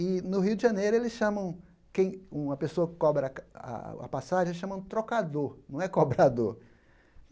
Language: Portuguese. E no Rio de Janeiro, eles chamam quem uma pessoa que cobra a a passagem, eles chamam trocador, não é cobrador.